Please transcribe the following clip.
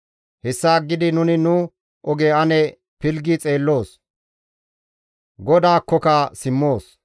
Hessa aggidi nuni nu oge ane pilggi xeelloos; GODAAKKOKA simmoos.